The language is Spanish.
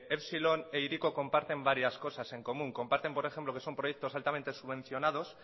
epsilon e hiriko comparte varias cosas en común comparten por ejemplo que son proyectos altamente subvencionados